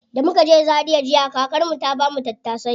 Da muka je zaria jiya, kakar mu ta bamu tattasai.